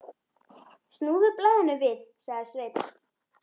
Snúðu blaðinu við, sagði Sveinn.